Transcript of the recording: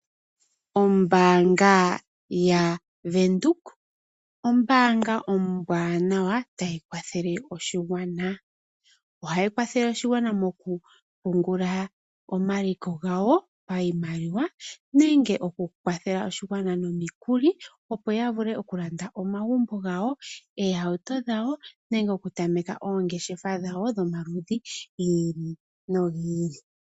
Ombaanga yaVenduka ombaanga ombwaanawa tayi kwathele oshigwana. Ohayi kwathele oshigwana moku pungula omaliko gawo payimaliwa. Nenge oku kwathela oshigwana no mikuli opo ya vule oku landa omagumbo gawo, oohauto dhawo nenge oku tameka oongeshefa dhawo dho maludhi gi ili nogi ili.